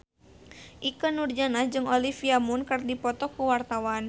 Ikke Nurjanah jeung Olivia Munn keur dipoto ku wartawan